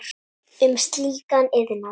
um slíkan iðnað.